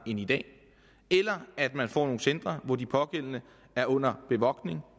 i dag eller at man får nogle centre hvor de pågældende er under bevogtning